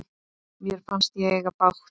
Mér fannst ég eiga bágt.